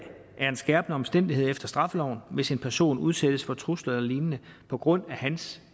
er en skærpende omstændighed efter straffeloven hvis en person udsættes for trusler eller lignende på grund af hans